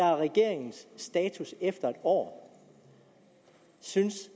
er regeringens status efter en år synes